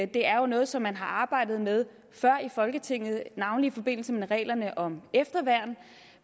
det er noget som man har arbejdet med før her i folketinget navnlig i forbindelse med reglerne om efterværn